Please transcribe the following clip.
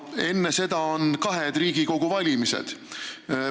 Enne seda on kahed Riigikogu valimised.